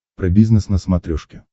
про бизнес на смотрешке